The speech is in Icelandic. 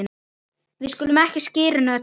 við skulum ekki skyrinu öllu